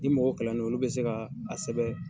Ni mɔgɔ kalannen non, olu bɛ se ka, a sɛ